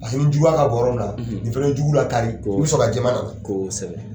Paseke ni jugu ka bon yɔrɔ min na, ,nin fɛnɛ bɛ jugu lakari, kosɛbɛ, i bɛ sɔrɔ ka jɛman na kosɛbɛ.